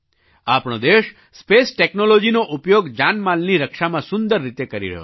આપણો દેશ સ્પેસ ટૅક્નૉલૉજીનો ઉપયોગ જાનમાલની રક્ષામાં સુંદર રીતે કરી રહ્યો છે